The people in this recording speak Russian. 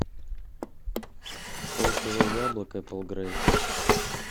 полкило яблок эпл грей